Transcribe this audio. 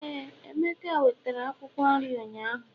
éè, emeka wetere Akwụkwọ nri ụnyaahụ